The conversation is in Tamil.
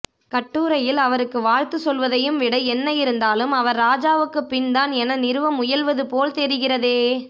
கட்டுரையில் அவருக்கு வாழ்த்து சொல்வதையும் விட என்ன இருந்தாலும் அவர் ராஜாவுக்குப் பின்தான் என நிறுவ முயல்வது போல் தெரிகிறதே